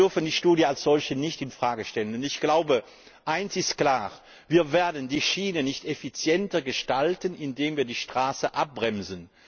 Aber wir dürfen die Studie als solche nicht in Frage stellen, denn ich glaube, eines ist klar Wir werden die Schiene nicht effizienter gestalten, indem wir die Straße abbremsen.